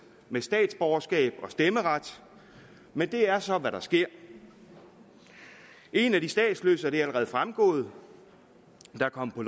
med statsborgerskab og stemmeret men det er så hvad der sker en af de statsløse og det er allerede fremgået der er kommet på